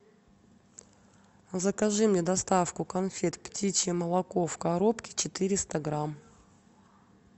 закажи мне доставку конфет птичье молоко в коробке четыреста грамм